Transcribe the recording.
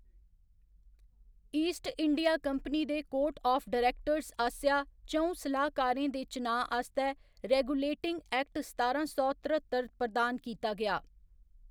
East India Company दे court of directors आसेआ च'ऊं सलाहकारें दे चनाऽ आस्तै रेगुलेटिंग एक्ट सतारां सौ तर्रतर प्रदान कीता गेआ।